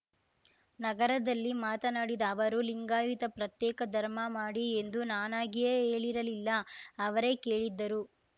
ನಗರದಲ್ಲಿ ಮಾತನಾಡಿದ ಅವರು ಲಿಂಗಾಯುತ ಪ್ರತ್ಯೇಕ ಧರ್ಮ ಮಾಡಿ ಎಂದು ನಾನಾಗಿಯೇ ಹೇಳಿರಲಿಲ್ಲ ಅವರೇ ಕೇಳಿದ್ದರು